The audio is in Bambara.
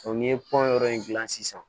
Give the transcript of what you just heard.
n'i ye pɔn yɔrɔ in dilan sisan